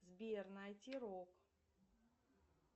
сбер найти рок